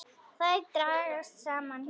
Þær dragast saman.